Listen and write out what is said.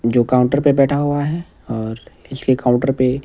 जो काउंटर पे बैठा हुआ है और इसके काउंटर पे--